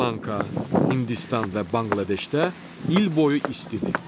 Şri Lanka, Hindistan və Banqladeşdə il boyu istidir.